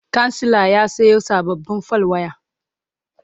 kansila ya Sayo sababbin fal waya